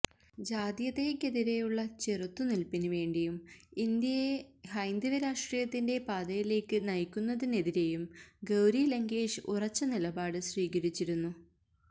ജാതീയതയെക്കതിരെയുള്ള ചെറുത്തുനിൽപിനു വേണ്ടിയും ഇന്ത്യയെ ഹൈന്ദവ രാഷ്ട്രീയത്തിന്റെ പാതയിലേക്ക് നയിക്കുന്നതിനെതിരെയും ഗൌരി ലങ്കേഷ് ഉറച്ച നിലപാട് സ്വീകരിച്ചിരുന്നു